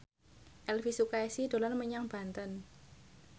Elvy Sukaesih dolan menyang Banten